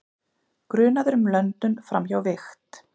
Grunaður um löndun framhjá vigt